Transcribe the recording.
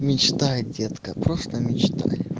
мечтай детка просто мечтай